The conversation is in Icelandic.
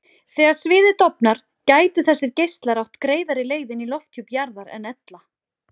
Þegar sviðið dofnar gætu þessir geislar átt greiðari leið inn í lofthjúp jarðar en ella.